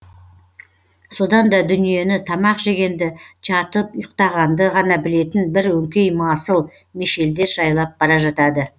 содан да дүниені тамақ жегенді жатып ұйықтағанды ғана білетін бір өңкей масыл мешелдер жайлап бара жатады